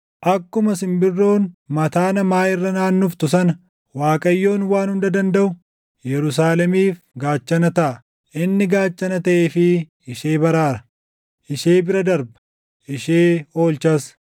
Akkuma simbirroon mataa namaa irra naannoftu sana Waaqayyoon Waan Hunda Dandaʼu // Yerusaalemiif gaachana taʼa; inni gaachana taʼeefii ishee baraara; ishee bira darba; ishee oolchas.”